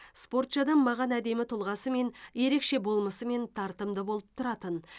спортшы адам маған әдемі тұлғасымен ерекше болмысымен тартымды болып тұратын